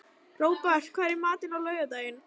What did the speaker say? Robert, hvað er í matinn á laugardaginn?